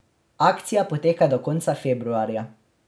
Akcija poteka do konca februarja.